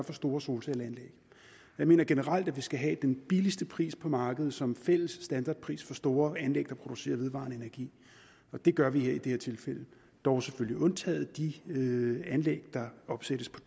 for store solcelleanlæg jeg mener generelt at vi skal have den billigste pris på markedet som fælles standardpris for store anlæg der producerer vedvarende energi det gør vi i det her tilfælde dog selvfølgelig undtaget de anlæg der opsættes på